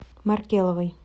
маркеловой